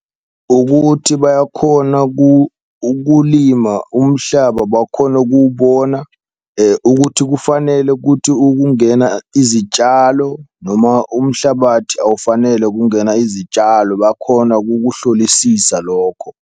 Ukuthi bayakhona ukulima umhlaba bakhone ukuwubona ukuthi kufanele kuthi ukungena izitshalo, noma umhlabathi awufanele ukungena izitshalo bakhona kukuhlolisisa lokho.